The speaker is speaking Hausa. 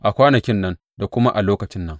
A kwanakin nan, da kuma a lokacin nan,